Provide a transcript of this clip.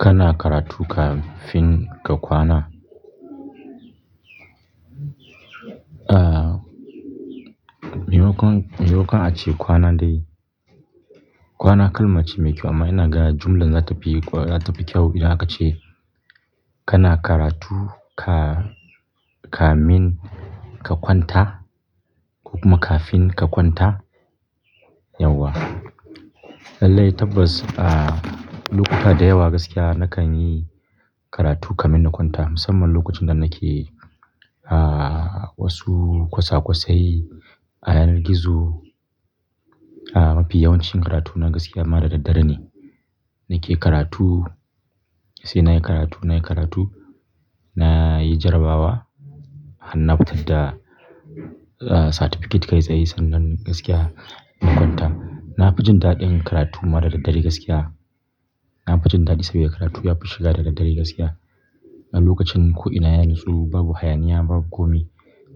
Kana karatu kafin ka kwana? Ah, maimakon, maimakon ace kwana dai. Kwana kalmace mai kyau amma ina ga jumlar za ta fi, za ta fi kyau idan aka ce kana karatu ka, kamin ka kwanta kuma kafin ka kwanta, yauwa. Lallai tabbas, ah, lokuta da yawa gaskiya nakan yi karatu kamin na kwanta. Musamman lokacin da nake, ah, wasu kwasakwasai a yanar gizo. Ah, mafi yawancin karatu na gaskiya ma da daddare ne. Nake karatu, sai na yi karatu, na yi karatu, na yi jarabawa. Har na fitar da, ah, certificate kai tsaye sannan gaskiya in kwanta. Na fi jin daɗin karatu ma da daddare gaskiya. Na fi jin daɗi saboda karatu yafi shiga da daddare gaskiya. A lokacin ko'ina ya natsu, babu hayaniya, babu komi.